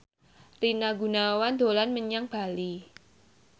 Rina Gunawan dolan menyang Bali